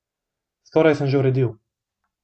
Skoraj sem že uredil.